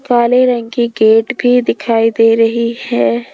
काले रंग की गेट भीं दिखाई दे रहीं हैं।